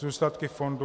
Zůstatky fondu -